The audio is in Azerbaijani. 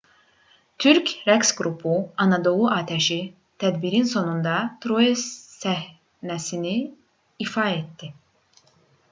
türk rəqs qrupu anadolu atəşi tədbirin sonunda troya səhnəsini ifa etdi